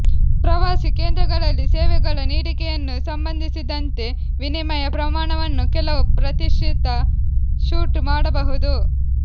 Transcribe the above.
ಪ್ರವಾಸಿ ಕೇಂದ್ರಗಳಲ್ಲಿ ಸೇವೆಗಳ ನೀಡಿಕೆಯನ್ನು ಸಂಬಂಧಿಸಿದಂತೆ ವಿನಿಮಯ ಪ್ರಮಾಣವನ್ನು ಕೆಲವು ಪ್ರತಿಶತ ಶೂಟ್ ಮಾಡಬಹುದು